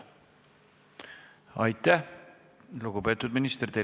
Aitäh, lugupeetud minister!